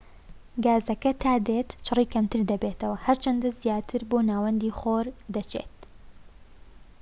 گازەکە تا دێت چڕی کەمتر دەبێتەوە هەر چەندە زیاتر بۆ ناوەندی خۆر دەچیت